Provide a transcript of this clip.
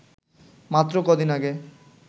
মাত্র কদিন আগে